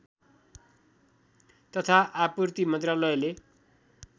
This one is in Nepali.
तथा आपूर्ति मन्त्रालयले